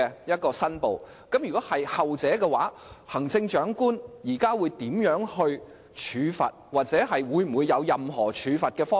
如果情況屬後者，行政長官會如何處罰該人，又或是否有任何處罰方案？